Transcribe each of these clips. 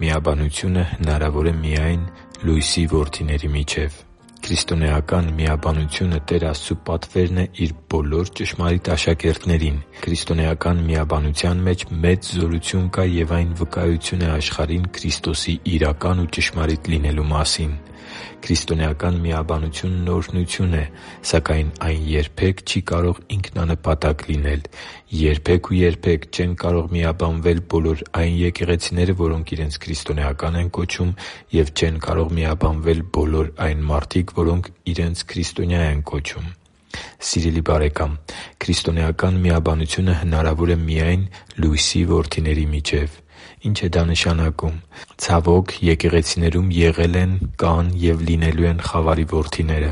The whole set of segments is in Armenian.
Միաբանությունը հնարավոր է միայն լույսի որդիների միջև Քրիստոնեական միաբանությունը Տեր Աստծու պատվերն է Իր բոլոր ճշմարիտ աշակերտներին։ Քրիստոնեական միաբանության մեջ մեծ զորութուն կա և այն վկայություն է աշխարհին Քրիստոսի իրական ու ճշմարիտ լինելու մասին։ Քրիստոնեական միաբանությունն օրհնություն է, սակայն այն երբե՛ք չի կարող ինքնանպատակ լինել։ Երբե՛ք ու երբե՛ք չեն կարող միաբանվել բոլոր այն եկեղեցիները, որոնք իրենց քրիստոնեական են կոչում։ Եվ չե՛ն կարող միաբանվել բոլոր այն մարդիկ, որոնք իրենց քրիստոնյա են կոչում։ Սիրելի՛ բարեկամ, քրիստոնեական միաբանությունը հնարավոր է միայն լույսի որդիների միջև։ Ի՞նչ է դա նշանակում։ Ցավոք, եկեղեցիներում եղել են, կան և լինելու են խավարի որդիները,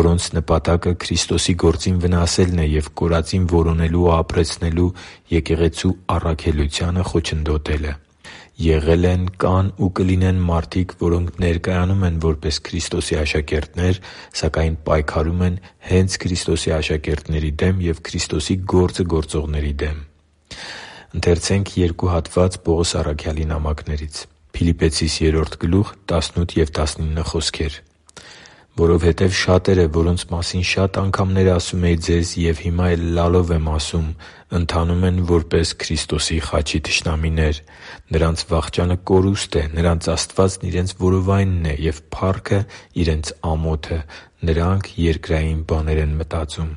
որոնց նպատակը Քրիստոսի գործին վնասելն է և կորածին որոնելու և ապրեցնելու Եկեղեցու առաքելությանը խոչընդոտելը։ Եղել են, կան ու կլինեն մարդիկ, որոնք ներկայանում են որպես Քրիստոսի աշակերտներ, սակայն պայքարում են հե՛նց Քրիստոսի աշակերտների և Քրիստոսի գործը գործողների դեմ։ «Որովհետև շատերը, որոնց մասին շատ անգամներ ասում էի ձեզ և հիմա էլ լալով եմ ասում, ընթանում են որպես Քրիստոսի խաչի թշնամիներ։ Նրանց վախճանը կորուստ է։ Նրանց Աստվածն իրենց որովայնն է, և փառքը՝ իրենց ամոթը. նրանք երկրային բաներն են մտածում»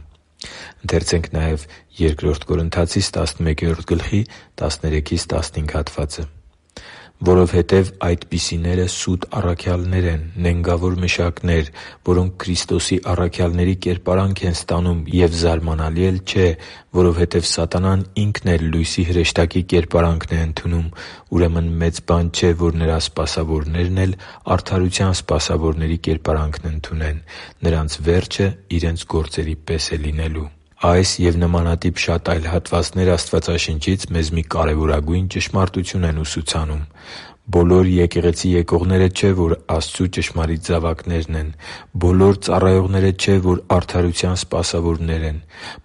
(Փիլիպպեցիս 3․18-19): «Որովհետև այդպիսիները սուտ առաքյալներ են, նենգավոր մշակներ, որոնք Քրիստոսի առաքյալների կերպարանք են ստանում։ Եվ զարմանալի էլ չէ, որովհետև սատանան ինքն էլ լույսի հրեշտակի կերպարանքն է ընդունում։ Ուրեմն մեծ բան չէ, որ նրա սպասավորներն էլ արդարության սպասավորների կերպարանքն ընդունեն։ Նրանց վերջը իրենց գործերի պես է լինելու» (Բ Կորնթացիս 11․13-15): Այս և նմանատիպ շատ հատվածներ Աստվածաշնչից մեզ մի կարևորագույն ճշմարտություն են ուսուցանում։ Բոլոր եկեղեցի եկողները չէ, որ Աստծու ճշմարիտ զավակներ են։ Բոլոր ծառայողները չէ, որ արդարության սպասավորներ են։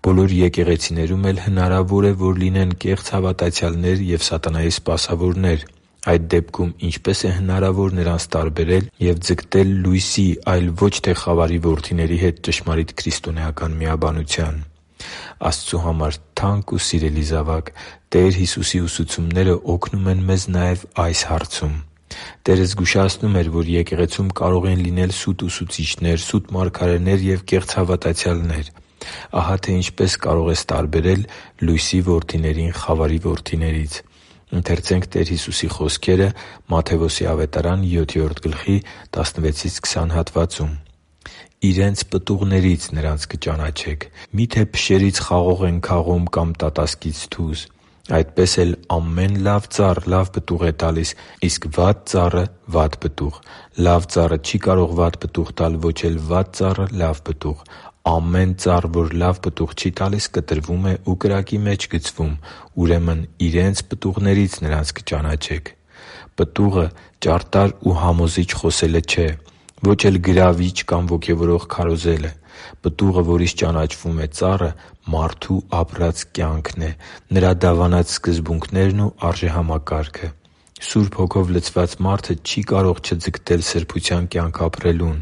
Բոլոր եկեղեցիներում էլ հնարավոր է, որ լինեն կեղծ հավատացյալներ և սատանայի սպասավորներ։ Այդ դեպքում ինչպե՞ս է հնարավոր նրանց տարբերել և ձգտել լույսի, այլ ոչ թե խավարի որդիների հետ ճշմարիտ քրիստոնեական միաբանության։ Աստծու համար թանկ ու սիրելի՛ զավակ, Տեր Հիսուսի ուսուցումները օգնում են մեզ նաև այս հարցում։ Տերը զգուշացնում էր, որ եկեղեցում կարող են լինել սուտ ուսուցիչներ, սուտ մարգարեներ և կեղծ հավատացյալներ։ Ահա թե ինչպես կարող ես տարբերել լույսի որդիներին խավարի որդիներից։ «Իրենց պտուղների՛ց նրանց կճանաչեք. մի՞թե փշերից խաղող են քաղում կամ տատասկից՝ թուզ։ Այդպես էլ ամեն լավ ծառ լավ պտուղ է տալիս, իսկ վատ ծառը՝ վատ պտուղ։ Լավ ծառը չի կարող վատ պտուղ տալ, ոչ էլ վատ ծառը՝ լավ պտուղ։ Ամեն ծառ, որ լավ պտուղ չի տալիս, կտրվում է ու կրակի մեջ գցվում։ Ուրեմն իրենց պտուղների՛ց նրանց կճանաչեք» (Մատթեոս 7․16-20): Պտուղը ճարտար ու համոզիչ խոսելը չէ։ Ո՛չ էլ գրավիչ կամ ոգևորող քարոզելը։ Պտուղը, որից ճանաչվում է ծառը, մարդու ապրած կյանքն է՝ նրա դավանած սկզբունքներն ու արժեհամակարգը։ Սուրբ Հոգով լցված մարդը չի կարող չձգտել սրբության կյանք ապրելուն։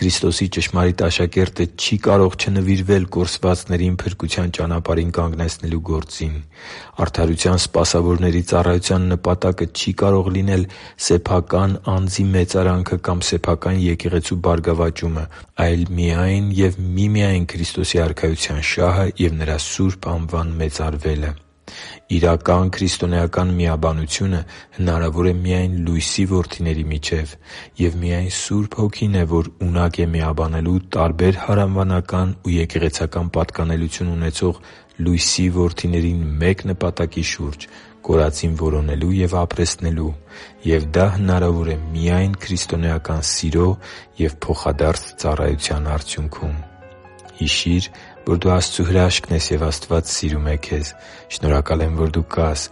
Քրիստոսի ճշմարիտ աշակերտը չի կարող չնվիրվել կորսվածներին փրկության ճանապարհին կանգնեցնելու գործին։ Արդարության սպասավորի ծառայության նպատակը չի կարող սեփական անձի մեծարանքը կամ սեփական եկեղեցու բարգավաճումը լինել, այլ միայն և միմիայն Քրիստոսի Արքայության շահն է և Նրա սուրբ անվան մեծարվելը։ Իրական քրիստոնեական միաբանությունը հնարավոր է միայն լույսի որդիների միջև։ Եվ միայն Սուրբ Հոգին է, որ ունակ է միաբանելու տարբեր հարանվանական ու եկեղեցական պատկանելություն ունեցող լույսի որդիներին մեկ նպատակի շուրջ՝ կորածին որոնելու և ապրեցնելու, և դա հնարավոր է միայն քրիստոնեական սիրո և փոխադարձ ծառայության արդյունքում։ Հիշի՛ր, որ դու Աստծո հրաշքն ես, և Աստված սիրում է քեզ։ Շնորհակալ եմ, որ դու կա՛ս